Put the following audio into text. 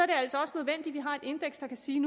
det altså også nødvendigt at vi har et indeks der kan sige